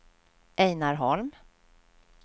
Ejnar Holm